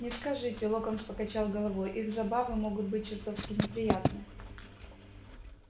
не скажите локонс покачал головой их забавы могут быть чертовски неприятны